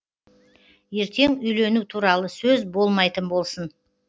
ертең үйлену туралы сөз болмайтын болсын